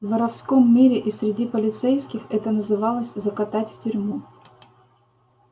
в воровском мире и среди полицейских это называлось закатать в тюрьму